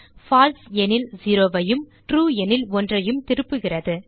பால்சே எனில் 0 ஐயும் ட்ரூ எனில் 1 ஐயும் திருப்புகிறது